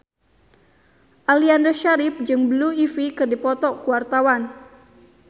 Aliando Syarif jeung Blue Ivy keur dipoto ku wartawan